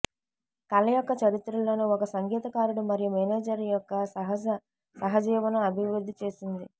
కళ యొక్క చరిత్రలో ఒక సంగీతకారుడు మరియు మేనేజర్ యొక్క సహజ సహజీవనం అభివృద్ధి చేసింది